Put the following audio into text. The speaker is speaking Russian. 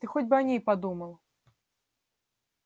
ты хоть бы о ней подумал